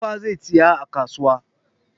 Tuffa zai saya a kasuwa.